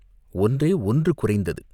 ஒன்றே ஒன்று குறைந்தது.